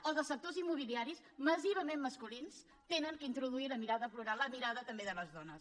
o dels sectors immobiliaris massivament masculins han d’introduir la mirada plural la mirada també de les dones